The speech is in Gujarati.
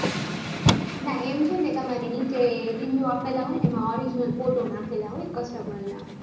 ના એમ તમારે નીચે review આપેલા હોય એમાં original photo નાખેલા હોય customer એ.